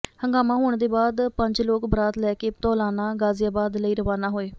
ਹੰਗਾਮਾ ਹੋਣ ਦੇ ਬਾਅਦ ਪੰਜ ਲੋਕ ਬਰਾਤ ਲੈ ਕੇ ਧੌਲਾਨਾ ਗਾਜ਼ੀਆਬਾਦ ਲਈ ਰਵਾਨਾ ਹੋਏ